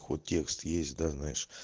хоть текст есть да знаешь